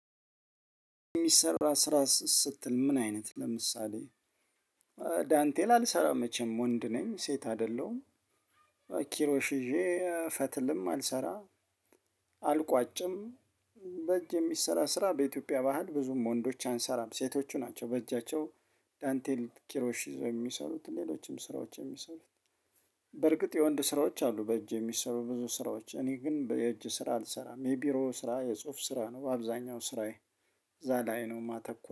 የሚሰራ ስራ ስትል ምን አይነት ለምሳሌ ዳንቴል አልሰራ መቼም ወንድ ነኝ ሴት አይደለሁም። ኪሮሽ ይዤ ፈትልም አልሰራ አልቋጭም። በእጅ የሚሰራ ስራ በኢትዮጵያ ባህል ብዙም ወንዶች አንሰራም ሴቶቹ ናቸው በእጃቸው ዳንቴል ኪሮሺ ይዘው የሚሰሩት ሌሎችም ስራዎች የሚሰሩት። በርግጥ የወንድ ስራዎች አሉ በእጅ የሚሰሩ ብዙ ስራዎች እኔ ግን የእጅ ስራ አልሰራም የቢሮ ስራ የጽሁፍ ስራ ነው። በአብዛኛው ስራዬ እዛ ላይ ነው የማተኩር